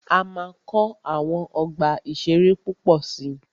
A máa kọ́ àwọn ọgbà ìṣẹ̀rẹ́ púpọ̀ si.